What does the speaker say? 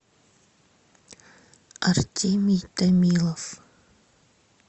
артемий томилов